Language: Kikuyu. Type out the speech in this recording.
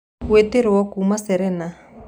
gũĩtĩaĩrĩo kũma serena